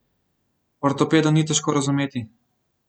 Ortopedov ni težko razumeti.